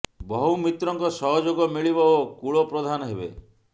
ବହୁ ମିତ୍ରଙ୍କ ସହଯୋଗ ମିଳିବ ଓ କୁଳ ପ୍ରଧାନ ହେବେ